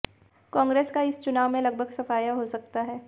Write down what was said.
कांग्रेस का इस चुनाव में लगभग सफाया हो सकता है